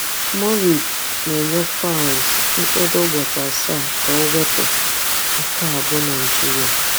MURIC na-enye Falz mkpụrụ ụbọchị asaa ka o wepụ "Nke a bụ Naịjirịa".